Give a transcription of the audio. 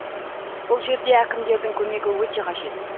бұл жерде әкімдердің көмегі өте қажет